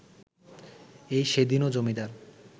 এই সেদিনও জমিদার